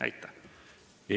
Aitäh!